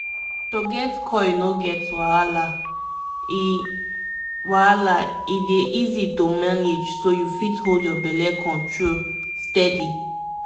if u dey reason implant mata mata e dey simple to maintain u no go need dat everi day reminder again small pause ah!